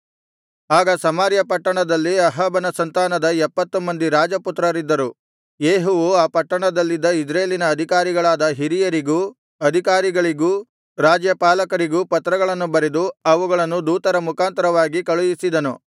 ಆಗ ಸಮಾರ್ಯ ಪಟ್ಟಣದಲ್ಲಿ ಅಹಾಬನ ಸಂತಾನದ ಎಪ್ಪತ್ತು ಮಂದಿ ರಾಜಪುತ್ರರಿದ್ದರು ಯೇಹುವು ಆ ಪಟ್ಟಣದಲ್ಲಿದ್ದ ಇಜ್ರೇಲಿನ ಅಧಿಕಾರಿಗಳಾದ ಹಿರಿಯರಿಗೂ ಅಧಿಕಾರಿಗಳಿಗೂ ರಾಜ್ಯಪಾಲಕರಿಗೂ ಪತ್ರಗಳನ್ನು ಬರೆದು ಅವುಗಳನ್ನು ದೂತರ ಮುಖಾಂತರವಾಗಿ ಕಳುಹಿಸಿದನು